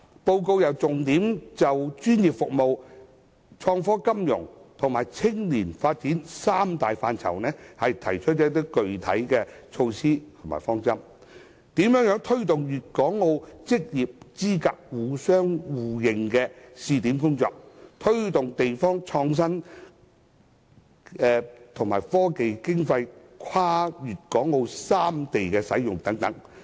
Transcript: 報告更重點就專業服務、創科金融及青年發展三大範疇，提出具體措施和方針，例如推動粵港澳職業資格互認試點的工作、推動地方創新及科技經費跨粵港澳三地使用等。